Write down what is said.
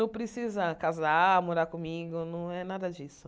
Não precisa casar, morar comigo, não é nada disso.